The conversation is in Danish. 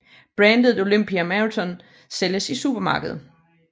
Brandet Olympia Marathon sælges i supermarkeder